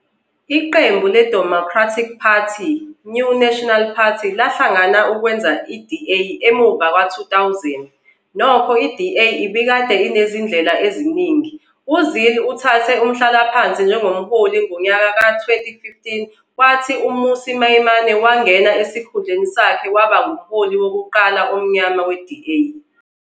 Iqembu leDemocratic Party neNew National Party lahlangana ukwenza iDA emuva ngo-2000, nokho iDA ibikade inezindlela eziningi. UZille uthathe umhlalaphansi njengomholi ngonyaka ka-2015 kwathi uMmusi Maimane wangena esikhundleni sakhe waba ngumholi wokuqala omnyama we-DA.